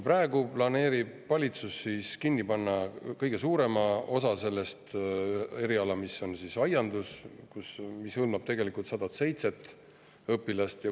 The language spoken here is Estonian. Praegu plaanib valitsus kinni panna kõige suurema osa sellest, aianduseriala, mis hõlmab tegelikult 107 õpilast.